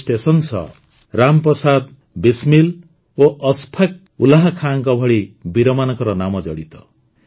ଏହି ଷ୍ଟେସନ ସହ ରାମ ପ୍ରସାଦ ବିସ୍ମିଲ୍ ଓ ଅଶ୍ଫାକ୍ ଉଲ୍ଲାହ୍ ଖାନଙ୍କ ଭଳି ବୀରମାନଙ୍କ ନାମ ଜଡ଼ିତ